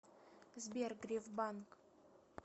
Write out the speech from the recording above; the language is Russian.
сбер греф банк